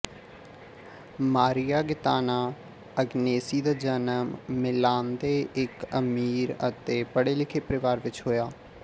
ਮਾਰੀਆ Gaetana Agnesi ਦਾ ਜਨਮ ਮਿਲਾਨਦੇੇ ਇੱਕ ਅਮੀਰ ਅਤੇ ਪੜ੍ਹੇਲਿਖੇ ਪਰਿਵਾਰ ਵਿਚ ਹੋਇਆ